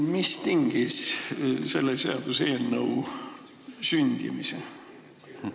Mis tingis selle seaduseelnõu sündimise?